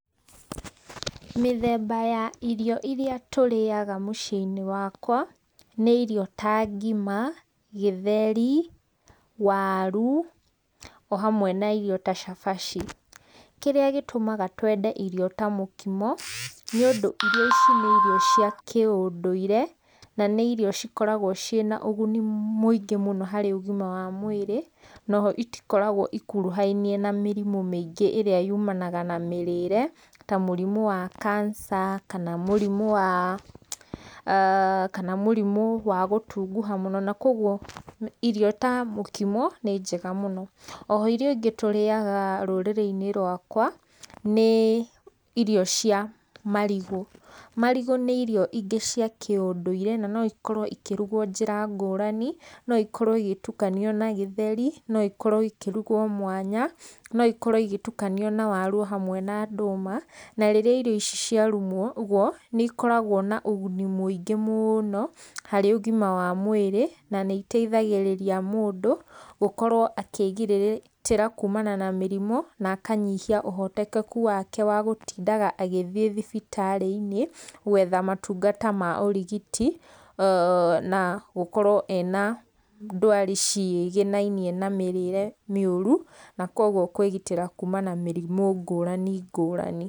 Mĩthemba ya irio iria tũrĩaga mũciĩ-inĩ wakwa, nĩ irio ta ngima, gĩtheri, waru, o hamwe na irio ta cabaci, kĩrĩa gĩtũmaga twende irio ta mũkimo, nĩũndũ irio ici nĩ irio cia kĩũndũire, na nĩ irio cikoragwo ciĩna ũguni mũingĩ mũno harĩ ũgima wa mwĩrĩ, noho itikoragwo ikuruhainie na mĩrimũ maingĩ ĩrĩa yumanaga na mĩrĩre, ta mũrimũ wa kanica, kana mũrimũ wa aah kana mũrimũ wa gũtunguha mũno, na kwoguo irio ta mũkimo nĩ njega mũno, oho irio ingĩ tũrĩyaga rũrĩrĩ-inĩ rwakwa, nĩ irio cia marigũ, marigũ nĩ irio ingĩ cia kĩũndũirĩ, na noikorwo ikĩrugwo njĩra ngũrani, no ikorwo igĩtukanio na gĩtheri, noikorwo ikĩrugwo mwanya, noikorwo igĩtukanio na waru o hamwe na ndũma, na rĩrĩa irio ici cia rumuo gwo nĩ ikoragwo na ũguni mwĩingĩ mũno harĩ ũgima wa mwĩrĩ, na nĩ iteithagĩrĩria mũndũ gũkorwo akĩgirĩrĩ akĩgitĩra kuumana na mĩrimo, nakanyihia ũhotekeku wake wagũtindaga agĩthiĩ thibitarĩ-inĩ, gwetha matungata ma ũrigiti, [ooh] na gũkorwo ena ndwari cigĩnainie na mĩrĩre mĩũru, na kwoguo kwĩgitĩra kuuma na mĩrimũ ngũrani, ngũrani.